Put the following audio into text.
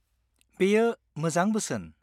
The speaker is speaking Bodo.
-बेयो मोजां बोसोन।